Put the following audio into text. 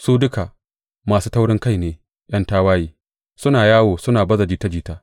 Su duka masu taurinkai ne, ’yan tawaye, suna yawo suna baza jita jita.